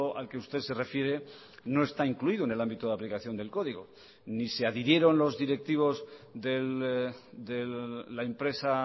al que usted se refiere no está incluido en el ámbito de aplicación del código ni se adhirieron los directivos de la empresa